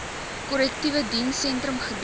korrektiewe dienssentrum gebied